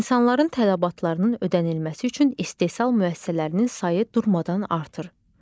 İnsanların tələbatlarının ödənilməsi üçün istehsal müəssisələrinin sayı durmadan artır.